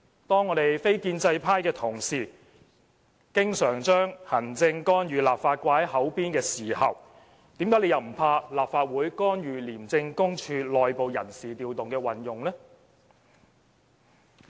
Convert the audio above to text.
當我們非建制派的同事經常將"行政干預立法"掛在嘴邊時，為甚麼又不害怕立法會干預廉署內部人士調動的運作呢？